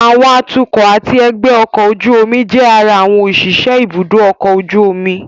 Àwọn atukọ̀ àti ẹgbẹ́ ọkọ̀ ojú omi jẹ́ ara àwọn òṣìṣẹ́ ibùdó ọkọ̀ ojú omi